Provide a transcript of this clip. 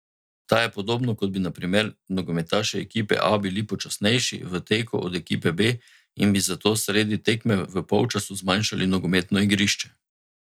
Ta je podobno, kot da bi na primer nogometaši ekipe A bili počasnejši v teku od ekipe B in bi zato sredi tekme v polčasu zmanjšali nogometno igrišče.